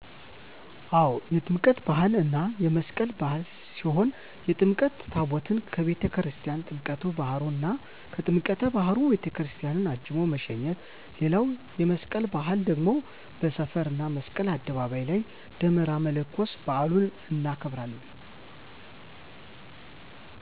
አው የጥምቀት በሃል እና የመስቀል በዓል ሲሆን የጥምቀት ታቦታትን አቤተክርስትያን ወደ ጥምቀት ባህሩ እና ከጥምቀተ ባህሩ ወደ ቤተክርስቲያን አጅቦ መሸኘት ሌላዉ የመስቀል በአል ደግሞ በሰፈር እና መስቀል አደባባይ ላይ ደመራ መለኮስ በአሉን እናከብራለን።